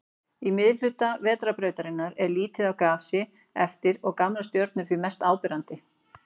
Í miðhluta Vetrarbrautarinnar er lítið af gasi eftir og gamlar stjörnur því mest áberandi.